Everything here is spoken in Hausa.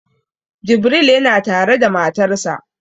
Jibril yana tare da matarsa